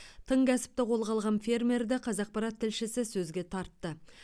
тың кәсіпті қолға алған фермерді қазақпарат тілшісі сөзге тартты